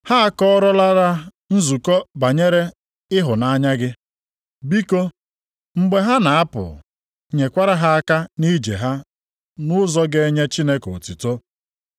Ha akọọlara nzukọ banyere ịhụnanya gị. Biko, mgbe ha na-apụ, nyekwara ha aka nʼije ha nʼụzọ ga-enye Chineke otuto.